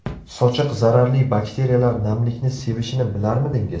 Sochiq Zararli bakteriyalar namlikni sevishini bilarmidingiz?